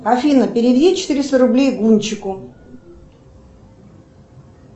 афина переведи четыреста рублей гунчику